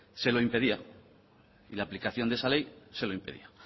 se lo impedía y la aplicación de esa ley se lo impide